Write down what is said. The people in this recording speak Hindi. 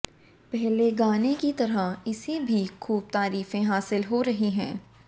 पहले गाने की तरह इसे भी खूब तारीफें हासिल हो रही हैं